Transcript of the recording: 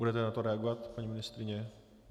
Budete na to reagovat, paní ministryně?